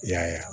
I y'a ye